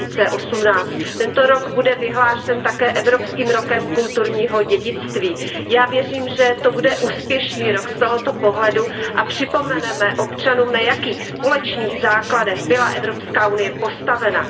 2018. Tento rok bude vyhlášen také evropským rokem kulturního dědictví. Já věřím, že to bude úspěšný rok z tohoto pohledu a připomeneme občanům, na jakých společných základech byla Evropská unie postavena.